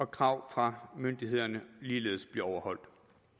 krav fra myndighederne ligeledes bliver overholdt